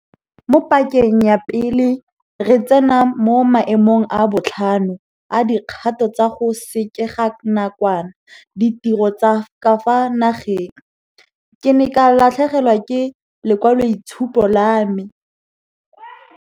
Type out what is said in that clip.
Mo pakeng ya pele re tsena mo maemong a botlhano a dikgato tsa go sekeganakwana ditiro tsa ka fa nageng, ke ne ka latlhegelwa ke lekwaloitshupo la me.